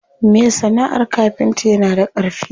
Me sana'ar kafinta yana da ƙarfi.